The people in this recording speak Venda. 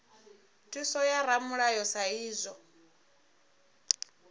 thuso ya ramulayo sa idzwo